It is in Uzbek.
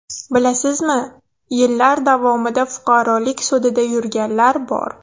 Bilasizmi, yillar davomida fuqarolik sudida yurganlar bor.